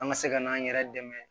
An ka se ka n'an yɛrɛ dɛmɛ